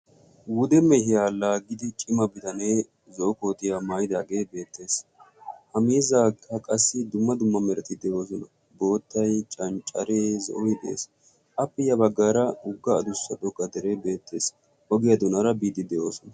Wude mehiyaa laaggidi cima bidanee zo'o kootiyaa maayidaagee beettees. Ha miizzaawukka qassi dumma dumma merati de'oosona. Boottay canccareenne zo'oy de'ees. Appe ya baggaara wogga adussa xoqqa dere beettees. Ogiyaa doonaara biiddi be'oos.